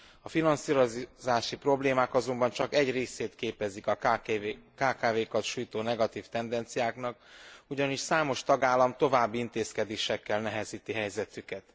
A finanszírozási problémák azonban csak egy részét képezik a kkv kat sújtó negatív tendenciáknak, ugyanis számos tagállam további intézkedésekkel nehezíti helyzetüket.